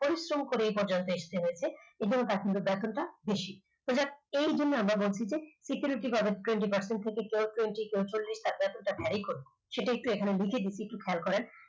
পরিশ্রম করে এই পর্যায়ে আসতে হয়েছে এবং তার সঙ্গে ব্যর্থতা বেশি। infact সেই জন্য আমরা বলছি যে security guard এর twenty percent ticket রয়েছে তারপর সেটা varry করবে সেটা একটু এখানে লিখে দিচ্ছি একটু খেয়াল করেন